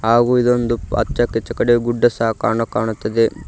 ಹಾಗು ಇದೊಂದು ಅಚ್ಯಾ ಕಚಕಡೆ ಗುಡ್ಡ ಸಾಕಣು ಕಾಣುತ್ತದೆ.